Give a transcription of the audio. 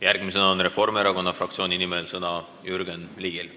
Järgmisena on Reformierakonna fraktsiooni nimel sõna Jürgen Ligil.